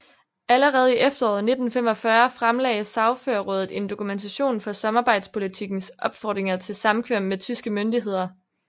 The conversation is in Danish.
Allerede i efteråret 1945 fremlagde Sagførerraadet en dokumentation for samarbejdspolitikkens opfordringer til samkvem med tyske myndigheder